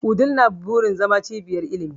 Wudil na burin zama cibiyar ilimi.